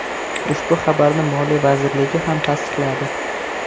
Ushbu xabarni Moliya vazirligi ham tasdiqladi .